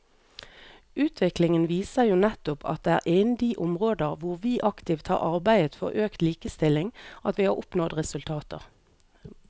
Utviklingen viser jo nettopp at det er innen de områder hvor vi aktivt har arbeidet for økt likestilling at vi har oppnådd resultater.